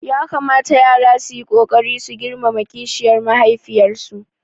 Ya kamata yara su yi ƙoƙari su girmama kishiyar mahaifiyarsu